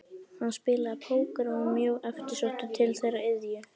Hann spilaði póker og var mjög eftirsóttur til þeirrar iðju.